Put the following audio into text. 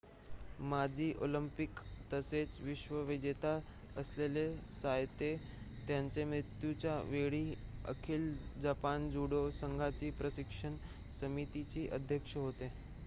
माजी ऑलिंपिक तसेच विश्व विजेता असलेले सायतो त्यांच्या मृत्युच्या वेळी अखिल जपान जूडो संघाच्या प्रशिक्षण समितीचे अध्यक्ष होते